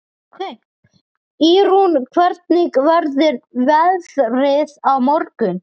Ýrún, hvernig verður veðrið á morgun?